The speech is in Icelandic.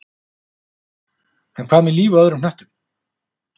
En hvað með líf á öðrum hnöttum?